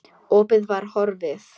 Opið var horfið.